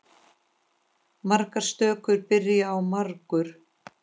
Margar stökur byrja á margur.